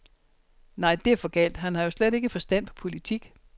Nej det er for galt, han har jo slet ikke forstand på politik.